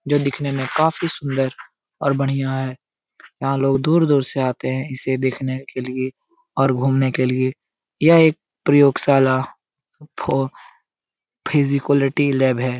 जो दिखने में काफ़ी सुन्दर और बढ़िया है यहाँ लोग दूर-दूर से आते है इसे देखने के लिए और घूमने के लिए यह एक प्रयोगशाला फो फिजिकैलिटी लैब है।